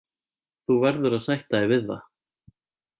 Þú verður að sætta þig við það.